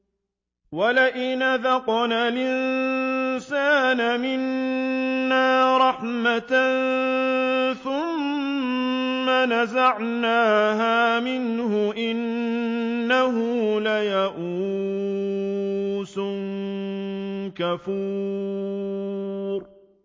وَلَئِنْ أَذَقْنَا الْإِنسَانَ مِنَّا رَحْمَةً ثُمَّ نَزَعْنَاهَا مِنْهُ إِنَّهُ لَيَئُوسٌ كَفُورٌ